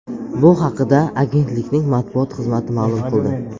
Bu haqda agentlikning matbuot xizmati ma’lum qildi .